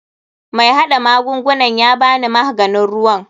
MAi hada magungunan yabani mahganin ruwa.